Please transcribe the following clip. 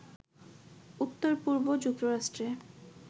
উত্তর-পূর্ব যুক্তরাষ্ট্রে